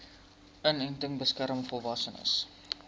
inenting beskerm volwassenes